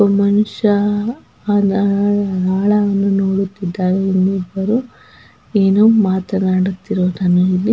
ಒಬ್ಬ ಮನುಷ್ಯ ಆಳ ಆಳವನ್ನು ನೋಡುತ್ತಿದ್ದನೇ ಇನ್ನಿಬ್ಬರು ಏನೋ ಮಾತಾಡುತ್ತಿರುವುದನ್ನು ಇಲ್ಲಿ --